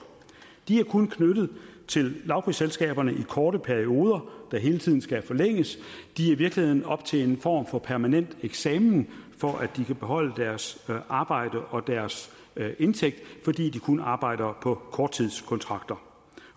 de er kun knyttet til lavprisselskaberne i korte perioder der hele tiden skal forlænges i virkeligheden oppe til en form for permanent eksamen for at de kan beholde deres arbejde og deres indtægt fordi de kun arbejder på korttidskontrakter